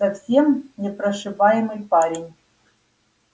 совсем непрошибаемый парень